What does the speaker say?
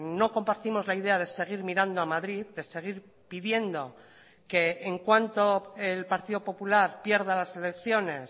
no compartimos la idea de seguir mirando a madrid de seguir pidiendo que en cuanto el partido popular pierda las elecciones